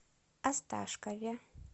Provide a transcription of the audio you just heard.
осташкове